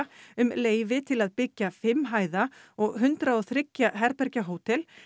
um leyfi til að byggja fimm hæða og hundrað og þriggja herbergja hótel